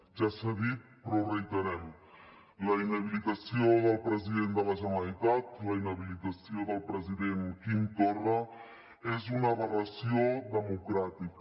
ja s’ha dit però ho reiterem la inhabilitació del president de la generalitat la inhabilitació del president quim torra és una aberració democràtica